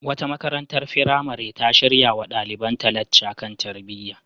Wata makarantar firamare ta shirya wa ɗalibanta lacca kan tarbiyya.